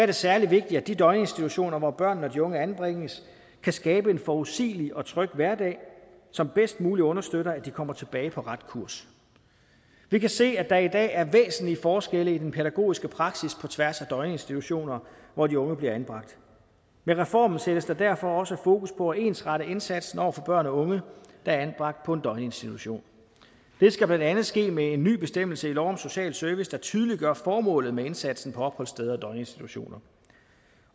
det særlig vigtigt at de døgninstitutioner hvor børnene og de unge anbringes kan skabe en forudsigelig og tryg hverdag som bedst muligt understøtter at de kommer tilbage på ret kurs vi kan se at der i dag er væsentlig forskel i den pædagogiske praksis på tværs af døgninstitutioner hvor de unge bliver anbragt med reformen sættes der derfor også fokus på at ensrette indsatsen over for børn og unge der er anbragt på en døgninstitution det skal blandt andet ske med en ny bestemmelse i lov om social service der tydeliggør formålet med indsatsen på opholdssteder og døgninstitutioner